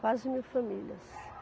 Quase mil famílias.